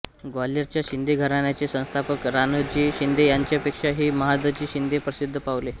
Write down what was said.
ग्वाल्हेरच्या शिंदे घराण्याचे संस्थापक राणोजी शिंदे यांच्यापेक्षाही महादजी शिंदे प्रसिद्ध पावले